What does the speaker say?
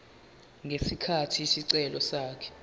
ngesikhathi isicelo sakhe